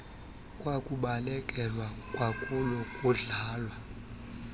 kwakubalekelwa kwakulo kudlalwa